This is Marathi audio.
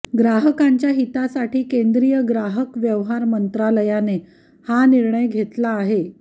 ग्राहकांच्या हितासाठी केंद्रीय ग्राहक व्यवहार मंत्रालयाने हा निर्णय घेतला आहे